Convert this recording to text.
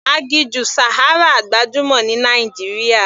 Aginjù Sahara gbajúmọ̀ ní Nàìjíríà.